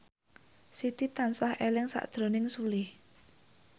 Siti tansah eling sakjroning Sule